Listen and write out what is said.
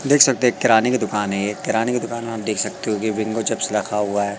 देख सकते हैं एक किराने दुकान है ये किराने की दुकान में आप देख सकते हो बिंगो चिप्स रखा हुआ--